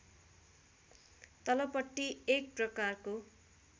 तलपट्टि एक प्रकारको